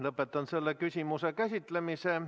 Lõpetan selle küsimuse käsitlemise.